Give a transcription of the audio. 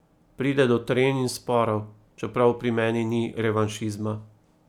Pride do trenj in sporov, čeprav pri meni ni revanšizma.